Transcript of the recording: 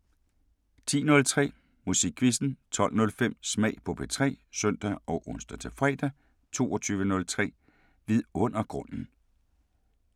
10:03: Musikquizzen 12:05: Smag på P3 (søn og ons-fre) 22:03: Vidundergrunden